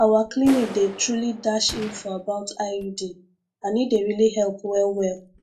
our clinic dey truly dash info about iud and e dey really help wellwell